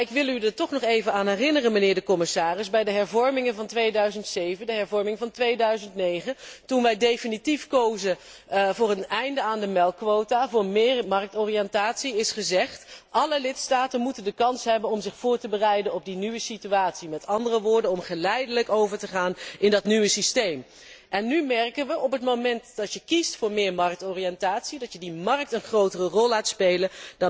Ik wil u echter toch nog herinneren aan het volgende, mijnheer de commissaris bij de hervormingen van 2007 en 2009, toen wij definitief kozen voor een einde aan de melkquota, voor meer marktoriëntatie, is gezegd dat alle lidstaten de kans moeten hebben om zich voor te bereiden op de nieuwe situatie, met andere woorden, om geleidelijk over te gaan in dat nieuwe systeem. Nu merken we, op het moment dat je kiest voor meer marktoriëntatie, dat je die markt een grotere rol laat spelen,